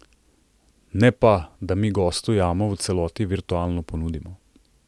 Ne pa, da mi gostu jamo v celoti virtualno ponudimo.